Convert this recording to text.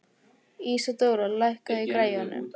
Ísadóra, lækkaðu í græjunum.